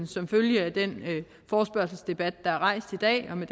som følge af den forespørgselsdebat der er rejst i dag og med